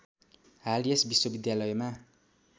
हाल यस विश्वविद्यालयमा